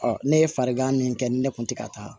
ne ye farigan min kɛ ni ne kun te ka taa